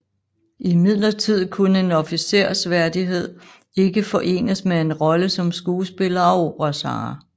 Imidlertid kunne en officersværdighed ikke forenes med en rolle som skuespiller og operasanger